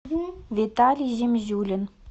виталий земзюлин